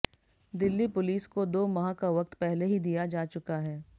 Delhi police को दो माह का वक्त पहले ही दिया जा चुका है